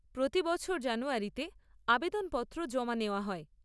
প্রতি বছর জানুয়ারিতে আবেদনপত্র জমা নেওয়া হয়।